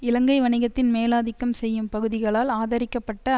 இலங்கை வணிகத்தின் மேலாதிக்கம் செய்யும் பகுதிகளால் ஆதரிக்கப்பட்ட